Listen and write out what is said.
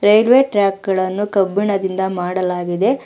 Railway track ಗಳನ್ನು ಕಬ್ಬಿಣದಿಂದ ಮಾಡಲಾಗಿದೆ.